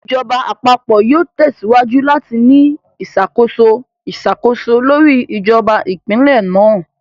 Ìjọba Àpapọ̀ yóò tẹsíwájú láti ní ìṣàkóso iṣakoso lórí ìjọba Ìpínlẹ̀ náà